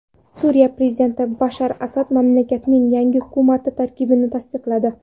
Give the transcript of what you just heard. Suriya prezidenti Bashar Asad mamlakatning yangi hukumati tarkibini tasdiqladi.